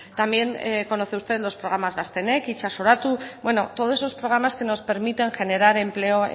también conoce usted los programas gaztenek itsasoratu bueno todos esos programas que nos permiten generar empleo